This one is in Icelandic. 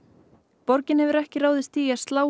borgin hefur ekki ráðist í að slá